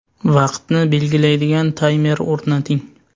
Vaqtni belgilaydigan taymer o‘rnating.